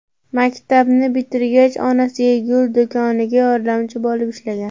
Maktabni bitirgach onasiga gul do‘konida yordamchi bo‘lib ishlagan.